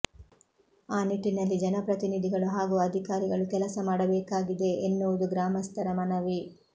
ಅ ನಿಟ್ಟಿನಲ್ಲಿ ಜನಪ್ರತಿನಿಧಿಗಳು ಹಾಗೂ ಅಧಿಕಾರಿಗಳು ಕೆಲಸ ಮಾಡಬೇಕಾಗಿದೆ ಎನ್ನುವುದು ಗ್ರಾಮಸ್ಥರ ಮನವಿ